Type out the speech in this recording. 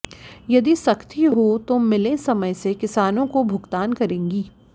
यदि सख्ती हो तो मिलें समय से किसानों को भुगतान करेंगी